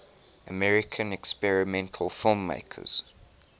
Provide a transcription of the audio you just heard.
american experimental filmmakers